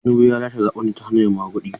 Tinubu ya lashe zaɓen ne ta hanyar maguɗi.